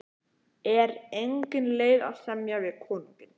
Er engin leið að semja við konunginn?